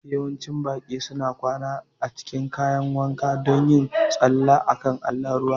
Yawancin baƙi suna kwana a cikin kayan wanka don yin tsalle a kan allon ruwa